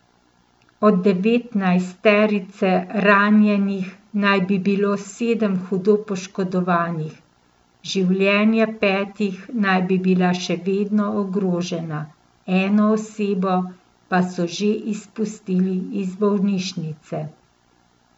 Od devetnajsterice ranjenih naj bi bilo sedem hudo poškodovanih, življenja petih naj bi bila še vedno ogrožena, eno osebo pa so že izpustili iz bolnišnice.